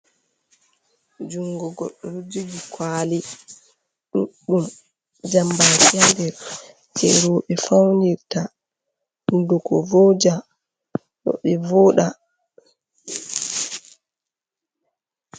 Junngo goɗɗo ɗo jogi kuwali ɗuɗɗum, jambaaki haa nder, jey rowɓe fawnirta, hunnduko vooja, rowɓe vooɗa.